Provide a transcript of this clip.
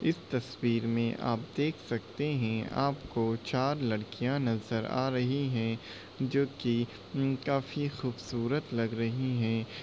इस तस्वीर में आप देख सकते हैं आपको चार लड़कियां नज़र आ रही है जो की उम काफी खूबसूरत लग रही है ।